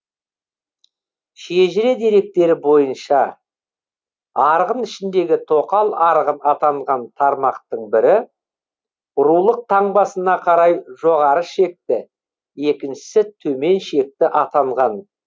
шежіре деректері бойынша арғын ішіндегі тоқал арғын атанған тармақтың бірі рулық таңбасына қарай жоғары шекті екіншісі төмен шекті атанған